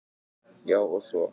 Já, og svo.